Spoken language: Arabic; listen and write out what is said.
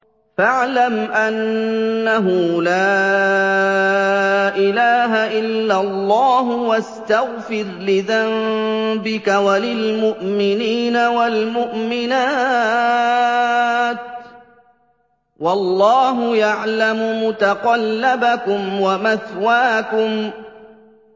فَاعْلَمْ أَنَّهُ لَا إِلَٰهَ إِلَّا اللَّهُ وَاسْتَغْفِرْ لِذَنبِكَ وَلِلْمُؤْمِنِينَ وَالْمُؤْمِنَاتِ ۗ وَاللَّهُ يَعْلَمُ مُتَقَلَّبَكُمْ وَمَثْوَاكُمْ